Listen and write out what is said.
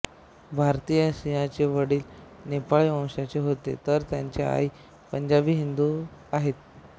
भारती सिंहचे वडील नेपाळी वंशाचे होते तर त्यांच्या आई पंजाबी हिंदू आहेत